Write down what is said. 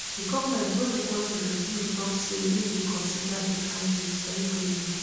di goment wey request di review tok say e dey consider di findings very closely